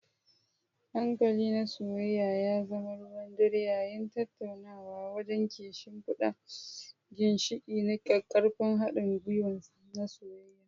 Hankali na soyayya ya zama ruwan dare yayin tattaunawa, wanda ke shimfida ginshiƙi na ƙaƙƙarfan haɗin gwiwa na soyayya.